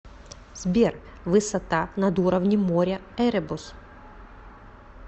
сбер высота над уровнем моря эребус